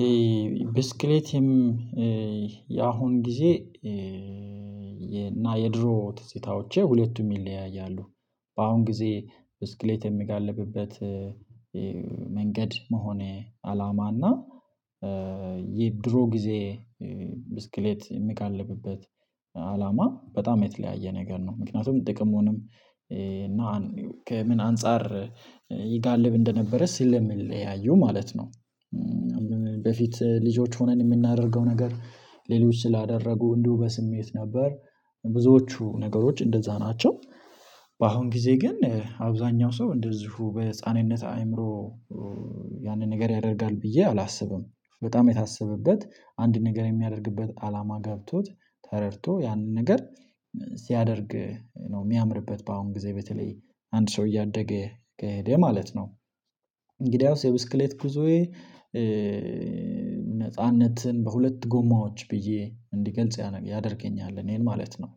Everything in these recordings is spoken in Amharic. ይሄ ብስክሌትም ያሁን ጊዜ እና የድሮ ትዝታዎቼ ሁለቱም ይለያያሉ። በአሁን ጊዜ ብስክሌት የምጋልብበት መንገድ መሆን አላማ እና የድሮ ጊዜ ብስክሌት የሚጋልብበት አላማ በጣም የተለያየ ነገር ነው። ምክንያቱም ጥቅሙንም እና ከምን አንፃር ይጋልብ እንደነበረ ስለሚለያየው ማለት ነው። በፊት ልጆች ሆነን የምናደርገው ነገር ሌሎች ስላደረጉ እንዲሁ በስሜት ነበር። ብዙዎቹ ነገሮች እንደዛ ናቸው። በአሁን ጊዜ ግን አብዛኛው ሰው እንደዚሁ በህፃንነት አይምሮ ያንን ነገር ያደርጋል ብዬ አላስብም። በጣም የታሰበበት አንድ ነገር የሚያደርግበት አላማ ገብቶት ተረድቶ ያንን ነገር ሲያደርግ ነው የሚያምርበት በአሁን ጊዜ በተለይ አንድ ሰው እያደገ ከሄደ ማለት ነው። እንግዲያውስ የብስክሌት ጉዞዬ ነጻነትን በሁለት ጎማዎች ብዬ እንዲገልጽ ያደርገኛል እኔን ማለት ነው።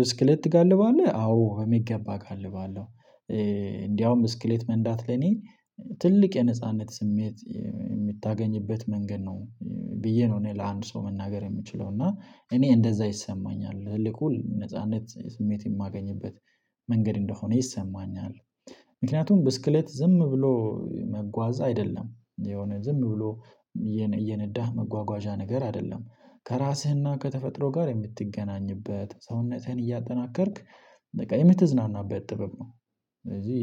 ብስክሌት ትጋልባለህ? አዎ በሚገባ እጋልባለሁ። እንደውም ብስክሌት መንዳት ለኔ ትልቅ የነጻነት ስሜት የምታገኝበት መንገድ ነው። ብዬ ነው እኔ ለአንድ ሰው መናገር የምችለው። እና እኔ እንደዛ ይሰማኛል። ትልቁ ነጻነት ስሜት የማገኝበት መንገድ እንደሆነ ይሰማኛል። ምክንያቱም ብስክሌት ዝም ብሎ መጓዛ አይደለም። የሆነ ዝም ብሎ እየነዳህ መጓጓዣ ነገር አይደለም። ከራስህና ከተፈጥሮ ጋር የምትገናኝበት ሰውነትህን እያጠናከርክ በቃ የምትዝናናበት ጥበብ ነው። ስለዚህ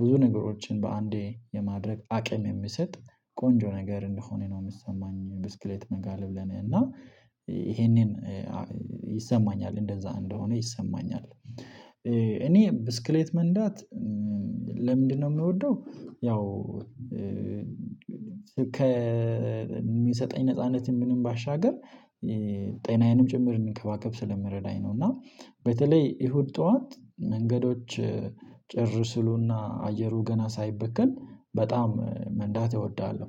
ብዙ ነገሮችን በአንዴ የማድረግ አቅም የሚሰጥ ቆንጆ ነገር እንደሆነ ነው የሚሰማኝ ብስክሌት መጋለብ ለኔ። እና ይሄንን ይሰማኛል። እንደዛ እንደሆነ ይሰማኛል። እኔ ብስክሌት መንዳት ለምንድነው የምወደው? ያው ከሚሰጠኝ ነጻነትም ምንም ባሻገር ጤናዬንም እንድከባከብ ስለመረዳኝ ነው። እና በተለይ እሁድ ጠዋት መንገዶች ጭር ሲሉና አየሩ ገና ሳይበከል በጣም መንዳት እወዳለሁ።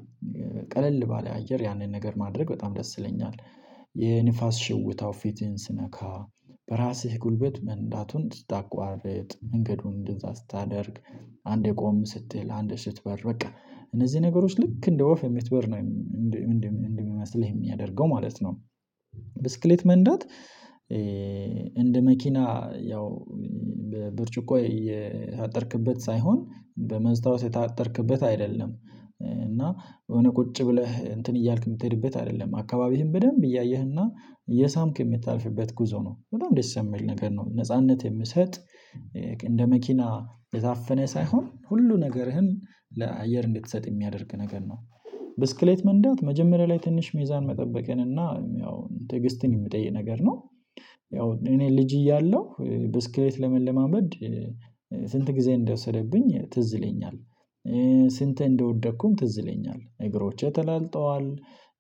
ቀለል ባለ አየር ያንን ነገር ማድረግ በጣም ደስ ይለኛል። የንፋስ ሽውታው ፊትህን ሲነካ፣ በራስህ ጉልበት መንዳቱን ስታቋርጥ መንገዱን እንደዛ ስታደርግ አንዴ ቆም ስትል አንዴ ስትበር በቃ እነዚህ ነገሮች ልክ እንደ ወፍ የሚትበር ነው እንደሚመስልህ የሚያደርገው ማለት ነው። ብስክሌት መንዳት እንደ መኪና ያው በብርጭቆ የታጠርክበት ሳይሆን በመስታወት የታጠርክበት አይደለም። እና የሆነ ቁጭ ብለህ እንትን እያልክ የምትሄድበት አይደለም። አካባቢህን በደንብ እያየህና እየሳምክ የምታልፍበት ጉዞ ነው። በጣም ደስ ይሚል ነገር ነው። ነጻነት የምሰጥ እንደ መኪና ታፍነህ ሳይሆን ሁሉ ነገርህን ለአየር እንድትሰጥ የሚያደርግ ነገር ነው። ብስክሌት መንዳት መጀመሪያ ላይ ትንሽ ሜዛን መጠበቅን እና ያው ትዕግስትን የሚጠይ ነገር ነው። ያው እኔ ልጅ እያለሁ ብስክሌት ለመለማመድ ስንት ጊዜ እንደወሰደብኝ ትዝ ይለኛል። ስንቴ እንደወደኩም ትዝ ይለኛል እግሮቼ ተላልጠዋል።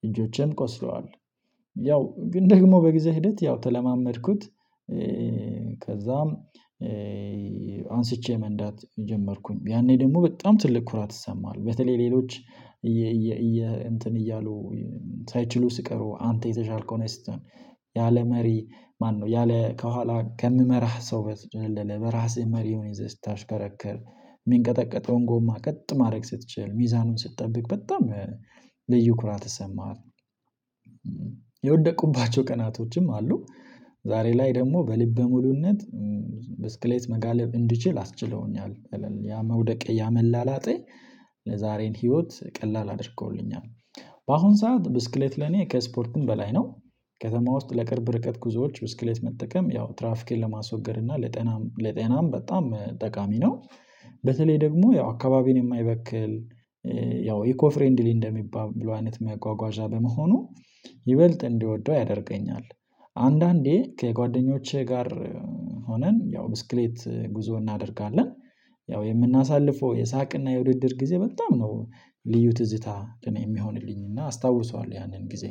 እጆቼም ቆስለዋል። ያው ግን ደግሞ በጊዜ ሂደት ያው ተለማመድኩት። ከዛም አንስቼ መንዳት ጀመርኩኝ። ያኔ ደግሞ በጣም ትልቅ ኩራት ይሰማሃል። በተለይ ሌሎች እንትን እያሉ ሳይችሉ ስቀሩ አንተ የተሻልከው ነጅ ስትሆን ያለ መሪ ማነው ያለ ከኋላ ከምመራህ ሰው በትጭት አይደለም በራስህ መሪውን ይዘህ ስታሽከረክር የሚንቀጠቀጠውን ጎማ ቀጥ ማድረግ ስትችል ሚዛኑን ስትጠብቅ በጣም ልዩ ኩራት ይሰማሃል። የወደኩባቸው ቀናቶችም አሉ። ዛሬ ላይ ደግሞ በልበ ሙሉነት ብስክሌት መጋለብ እንድችል አስችለውኛል። ያ መውደቅ ያ መላላጤ ለዛሬን ህይወት ቀላል አድርገውልኛል። በአሁን ሰዓት ብስክሌት ለኔ ከስፖርትም በላይ ነው። ከተማ ውስጥ ለቅርብ ርቀት ጉዞዎች ብስክሌት መጠቀም ያው ትራፊክን ለማስወገድ እና ለጤናም ለጤናም በጣም ጠቃሚ ነው። በተለይ ደግሞ ያው አካባቢን የማይበክል ያው ኢኮ ፍሬንድሊ እንደሚባል ብሎ አይነት መጓጓዣ በመሆኑ ይበልጥ እንድወደው ያደርገኛል። አንዳንዴ ከጓደኞቼ ጋር ሆነን ያው ብስክሌት ጉዞ እናደርጋለን። ያው የምናሳልፈው የሳቅና የውድድር ጊዜ በጣም ነው ልዩ ትዝታ እኔ የሚሆንልኝ። እና አስታውሰዋለሁ ያንን ጊዜ።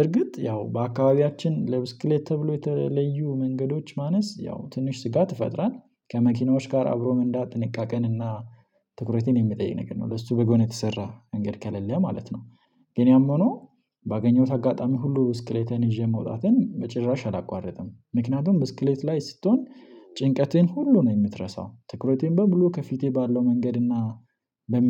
እርግጥ ያው በአካባቢያችን ለብስክሌት ተብሎ የተለዩ መንገዶች ማነስ ያው ትንሽ ስጋት ይፈጥራል። ከመኪናዎች ጋር አብሮ መንዳት ጥንቃቄን እና ትኩረትን የሚጠይቅ ነገር ነው። በሱ በጎን የተሰራ መንገድ ከሌለ ማለት ነው። ግን ያም ሆኖ ባገኘሁት አጋጣሚ ሁሉ ብስክሌቴን ይዤ መውጣቴን በጭራሽ አላቋርጥም። ምክንያቱም ብስክሌት ላይ ስትሆን ጭንቀትህን ሁሉ ነው የምትረሳው። ትኩረቴን በሙሉ ከፊቴ ባለው መንገድ እና ለሚ